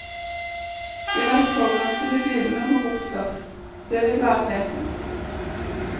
De mest forurensende bilene må bort først, det vil være mer fornuftig.